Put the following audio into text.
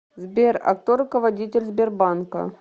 сбер а кто руководитель сбербанка